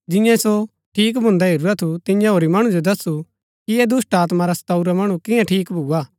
जियें सो ठीक भुन्दा हेरूरा थू तियें होरी मणु जो दस्सु कि ऐह दुष्‍टात्मा रा सताऊरा मणु कियां ठीक भुआ